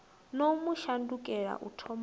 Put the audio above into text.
no mu shandukela u thomani